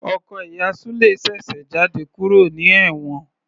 Ọkọ ìyá Sule ṣèṣe jáde kúrò ní ewon